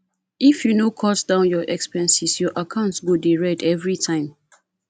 if you no cut down expenses your account go dey red every time